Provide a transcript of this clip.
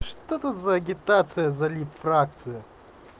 что тут за агитация залить фракцию